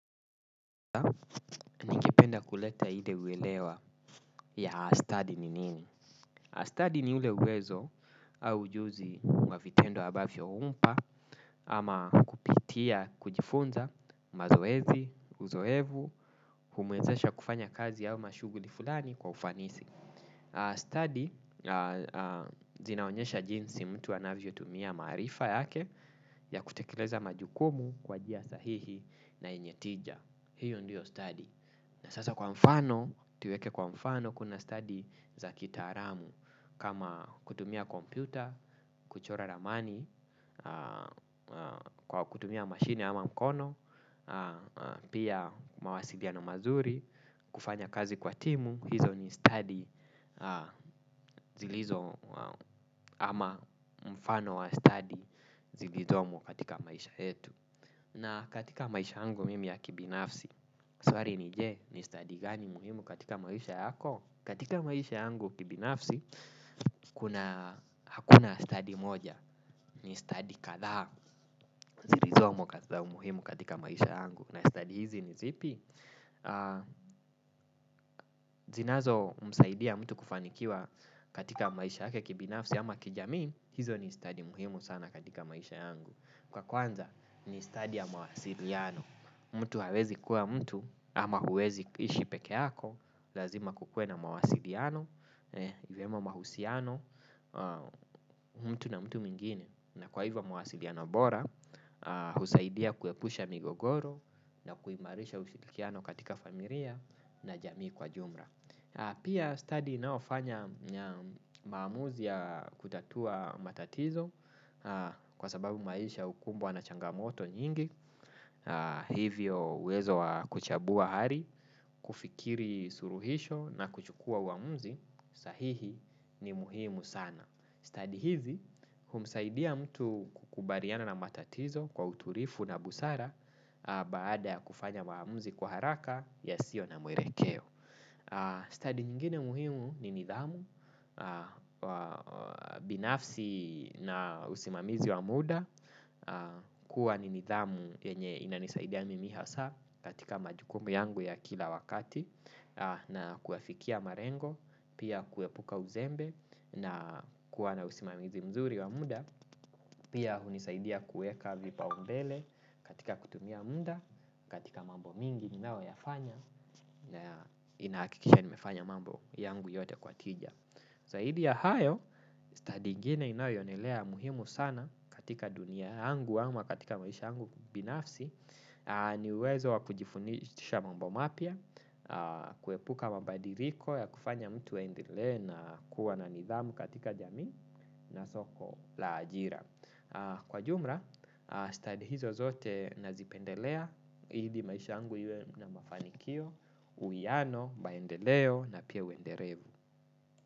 Penda kuleta ile huelewa ya astadi ni nini. Astadi ni ule uwezo au ujuzi wa vitendo ambavyo umpa ama kupitia kujifunza mazoezi, uzoevu, humwezesha kufanya kazi au mashuguli fulani kwa ufanisi. Astadi zinaonyesha jinsi mtu anavyotumia maarifa yake ya kutekeleza majukumu kwa njia sahihi na yenye tija. Hiyo ndiyo stadi. Sasa kwa mfano, tuweke kwa mfano kuna stadi za kitaalamu kama kutumia kompyuta, kuchora ramani, kutumia mashine ama mkono, pia mawasiliano mazuri, kufanya kazi kwa timu, hizo ni stadi zilizo ama mfano wa stadi zilizomo katika maisha yetu. Na katika maisha yangu mimi ya kibinafsi, swali ni je, ni stadi gani muhimu katika maisha yako? Katika maisha yangu kibinafsi, hakuna stadi moja. Ni stadi kadhaa zilizomo umuhimu katika maisha yangu. Na stadi hizi ni zipi? Zinazo msaidia mtu kufanikiwa katika maisha yake kibinafsi ama kijamii, hizo ni stadi muhimu sana katika maisha yangu. Kwa kwanza, ni stadi ya mawasiliano. Mtu hawezi kuwa mtu ama huwezi kuishi pekeyako. Lazima kukue na mawasiliano, vyema mahusiano, mtu na mtu mwingine. Na kwa hivyo mawasiliano bora, husaidia kuepusha migogoro na kuimarisha usihirikiano katika familia na jamii kwa jumla. Pia stadi inayofanya maamuzi ya kutatua matatizo kwa sababu maisha hukumbwa na changamoto nyingi, hivyo uwezo wa kuchambua hali, kufikiri suluhisho na kuchukua uhamuzi sahihi ni muhimu sana. Stadi hizi, humsaidia mtu kukubaliana na matatizo kwa utulifu na busara baada ya kufanya maamuzi kwa haraka yasiyo na mwelekeo. Stadi nyingine muhimu ni nidhamu, binafsi na usimamizi wa muda. Kuwa ni nidhamu yenye inanisaidia mimi haswa katika majukumu yangu ya kila wakati. Na kuwafikia malengo, pia kuepuka uzembe na kuwa na usimamizi mzuri wa muda. Pia, hunisaidia kuweka vipaumbele katika kutumia muda, katika mambo mingi ninayoyafanya na inahakikisha nimefanya mambo yangu yote kwa tija. Zaidi ya hayo, stadi ingine inayoendelea muhimu sana katika dunia yangu ama katika maisha yangu binafsi ni uwezo wa kujifundisha mambo mapya. Kuepuka mabadiliko ya kufanya mtu aendelee na kuwa na nidhamu katika jamii na soko la ajira. Kwa jumla, studi hizo zote nazipendelea, ili maisha yangu iwe na mafanikio uyano, maendeleo na pia uendelevu.